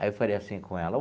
Aí eu falei assim com ela.